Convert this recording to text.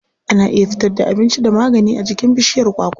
Ana iya fitar da abinci da magani a jikin bishiyar kwakwa.